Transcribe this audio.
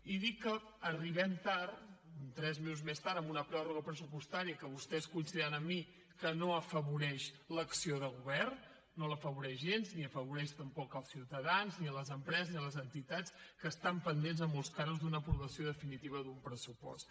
i dic que arribem tard tres mesos més tard amb una pròrroga pressupostària que vostès coincidiran amb mi que no afavoreix l’acció de govern no l’afavoreix gens ni afavoreix tampoc els ciutadans ni les empreses ni les entitats que estan pendents en molts casos d’una aprovació definitiva d’un pressupost